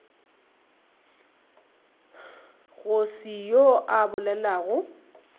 go se yoo a bolelago